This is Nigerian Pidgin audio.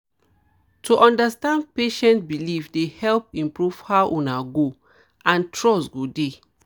to understand patient beliefs dey help improve how una go and trust go dey